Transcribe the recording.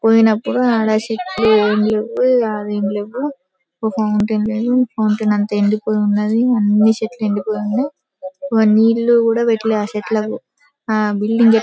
పోయినప్పుడు ఆడ చెట్లు ఏమీ లేవు యాడ ఏమీ లేవు ఒక ఫౌంటైన్ లేదు ఫౌంటైన్ అంతా ఎండిపోయి ఉన్నాది. అన్ని చెట్లు ఎండిపోయి ఉన్నాయి. వాళ్లు నీళ్లు కూడా పెట్లే చెట్లకి ఆ బిల్డింగ్ --